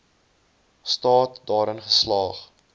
staat daarin geslaag